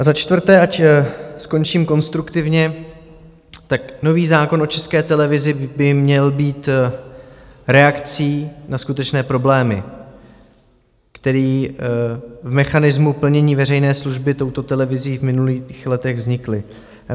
A za čtvrté, ať skončím konstruktivně, tak nový zákon o České televizi by měl být reakcí na skutečné problémy, které v mechanismu plnění veřejné služby touto televizí v minulých letech vznikly.